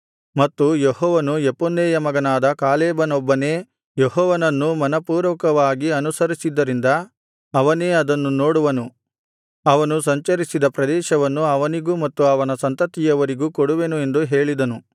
ಮತ್ತು ಯೆಹೋವನು ಯೆಫುನ್ನೆಯ ಮಗನಾದ ಕಾಲೇಬನೊಬ್ಬನೇ ಯೆಹೋವನನ್ನು ಮನಃಪೂರ್ವಕವಾಗಿ ಅನುಸರಿಸಿದ್ದರಿಂದ ಅವನೇ ಅದನ್ನು ನೋಡುವನು ಅವನು ಸಂಚರಿಸಿದ ಪ್ರದೇಶವನ್ನು ಅವನಿಗೂ ಮತ್ತು ಅವನ ಸಂತತಿಯವರಿಗೂ ಕೊಡುವೆನು ಎಂದು ಹೇಳಿದನು